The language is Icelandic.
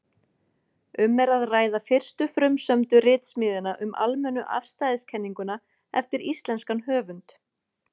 Um er að ræða fyrstu frumsömdu ritsmíðina um almennu afstæðiskenninguna eftir íslenskan höfund.